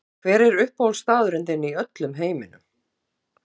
Siggi Raggi Hver er uppáhaldsstaðurinn þinn í öllum heiminum?